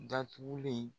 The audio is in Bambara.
Datugulen